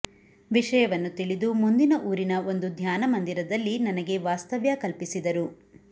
ವಿಷಯವನ್ನು ತಿಳಿದು ಮುಂದಿನ ಊರಿನ ಒಂದು ಧ್ಯಾನ ಮಂದಿರದಲ್ಲಿ ನನಗೆ ವಾಸ್ತವ್ಯ ಕಲ್ಪಿಸಿದರು